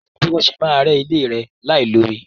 Kò sí bí wọ́n ṣe máa rẹ́ ilé láì lo omi.